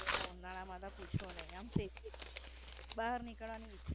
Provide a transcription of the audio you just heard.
અને ઉનાળામાં પૂછો નઈ આમ, બાર નીકળવાનું વિચાર